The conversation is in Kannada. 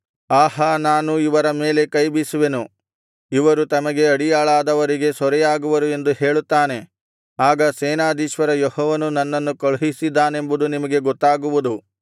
ಆಹಾ ನಾನು ಇವರ ಮೇಲೆ ಕೈಬೀಸುವೆನು ಇವರು ತಮಗೆ ಅಡಿಯಾಳಾದವರಿಗೆ ಸೂರೆಯಾಗುವರು ಎಂದು ಹೇಳುತ್ತಾನೆ ಆಗ ಸೇನಾಧೀಶ್ವರ ಯೆಹೋವನು ನನ್ನನ್ನು ಕಳುಹಿಸಿದ್ದಾನೆಂಬುದು ನಿಮಗೆ ಗೊತ್ತಾಗುವುದು